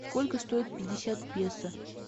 сколько стоит пятьдесят песо